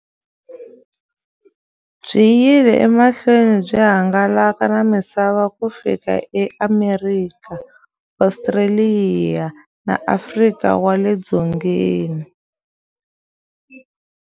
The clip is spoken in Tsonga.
Byi yile emahlweni byi hangalaka na misava ku fika eAmerika, Ostraliya na Afrika wale dzongeni.